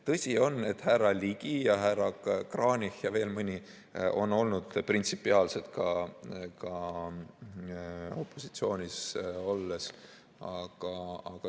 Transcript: Tõsi on, et härra Ligi ja härra Kranich ja veel mõni on olnud printsipiaalsed ka opositsioonis olles.